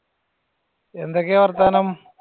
എന്തൊക്കെയാ വർത്താനം?